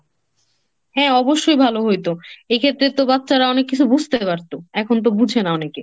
হ্যাঁ অবশ্যই ভালো হইত। এক্ষেত্রে তো বাচ্চারা অনেক কিছু বুঝতে পারত। এখন তো বুঝে না অনেকে।